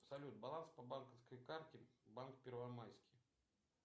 салют баланс по банковской карте банк первомайский